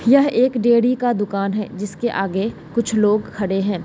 यह एक डेयरी का दुकान है जिसके आगे कुछ लोग खड़े हैं।